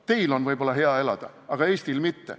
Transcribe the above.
Võib-olla teil on hea elada, aga Eestil mitte.